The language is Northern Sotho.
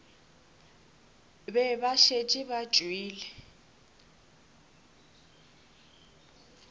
be ba šetše ba tšwele